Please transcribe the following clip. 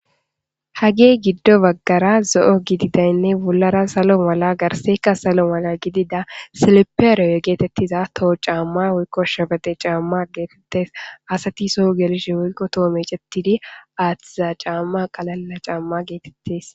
Hage gido bagara zo,o gidizinne bolara salo mala garsayika salo mala gidiza silipere getetiza toho ca,ma woyiko shebexe ca,ma getetes asati so gelishen woyiko toho mec,etidi atida ca,ma getetes